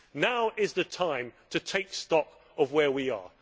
Now is the time to take stock of where we are.